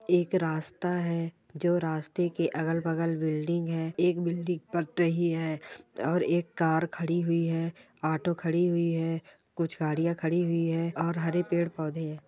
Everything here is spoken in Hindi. एक रास्ता है जो रास्ते के अगल-बगल बिल्डिंग है एक बिल्डिंग पट रही है और एक कार खड़ी हुई है ऑटो खड़ी हुई है कुछ गाड़ियां खड़ी हुई है और हरे पेड़-पौधे है ।